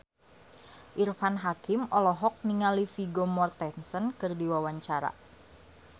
Irfan Hakim olohok ningali Vigo Mortensen keur diwawancara